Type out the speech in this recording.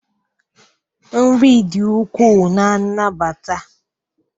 nri dị ukwuu na nnabata